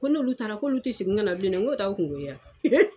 Ko n'olu taara k'olu ti segin ka na bilen dɛ, n ko t'a kungo ye wa